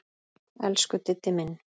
Elsku Diddi minn.